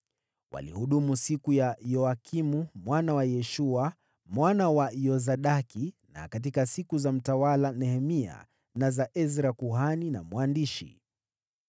Walihudumu siku za Yoyakimu mwana wa Yeshua, mwana wa Yosadaki, na katika siku za mtawala Nehemia, na za Ezra kuhani na mwandishi.